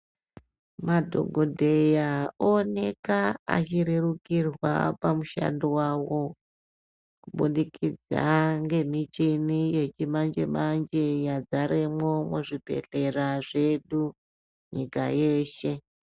Madhokodheya ooneka achirerukirwa pamushando wawo kubudikidza ngemuchini yechimanje manje yadzaremwo muzvibhedhlera zvedu nyika yeshe.